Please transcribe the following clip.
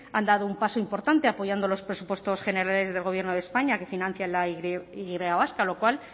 han dado un paso importante apoyando los presupuestos generales del gobierno de españa que financia la y vasca lo cual